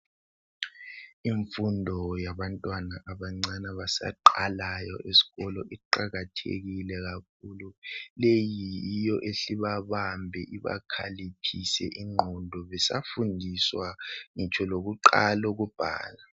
Imfundo yabantwana bancane abasaqalayo esikolo iqakathekile kakhulu leyi yiyo ehle ibabambe ibakhaliphise ingqondo besafundiswa.